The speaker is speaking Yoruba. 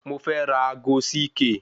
Mo fẹ́ ra ago CK